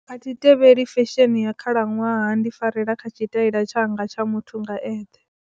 A thi tevheli fesheni ya khalaṅwaha ndi farela kha tshitaila tshanga tsha muthu nga eṱhe.